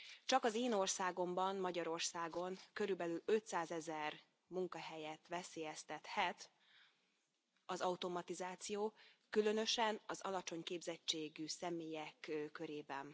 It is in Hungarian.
Csak az én országomban, Magyarországon, körülbelül ötszázezer munkahelyet veszélyeztethet az automatizáció, különösen az alacsony képzettségű személyek körében.